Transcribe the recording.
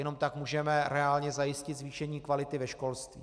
Jenom tak můžeme reálně zajistit zvýšení kvality ve školství.